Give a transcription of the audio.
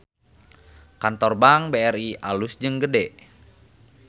Kantor Bank BRI alus jeung gede